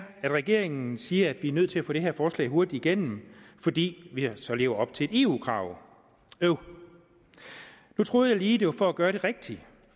regeringen siger at vi er nødt til at få det her forslag hurtigt igennem fordi vi så lever op til eu kravet øv nu troede jeg lige at det var for gøre det rigtige